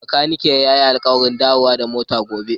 Bakaniken ya yi alƙawarin dawo da motar gobe.